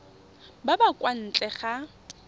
ba ba kwa ntle ga